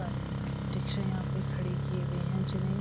सारे रिक्शे यहाँ पे खड़े किए हुए हैं जिन्हें --